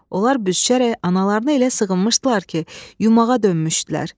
Onlar büzüşərək analarına elə sığınmışdılar ki, yumağa dönmüşdülər.